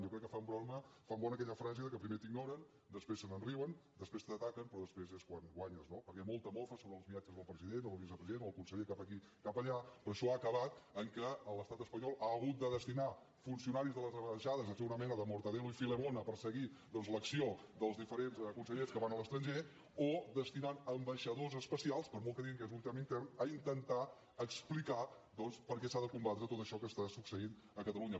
jo crec que fan bona aquella frase que primer t’ignoren després se’n riuen després t’ataquen però després és quan guanyes no perquè molta mofa sobre els viatges del president o del vicepresident o del conseller cap aquí cap allà però això ha acabat que l’estat espanyol ha hagut de destinar funcionaris de les ambaixades a fer una mena de mortadelo i filemón a perseguir doncs l’acció dels diferents consellers que van a l’estranger o destinant ambaixadors especials per molt que diguin que és un tema intern a intentar explicar doncs per què s’ha de combatre tot això que està succeint a catalunya